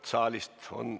Härra peaminister!